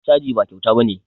Caji ba kyauta ba ne